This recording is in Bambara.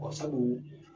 sabu